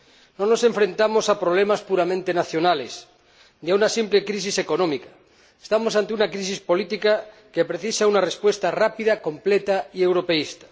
No nos enfrentamos a problemas puramente nacionales ni a una simple crisis económica estamos ante una crisis política que precisa una respuesta rápida, completa y europeísta.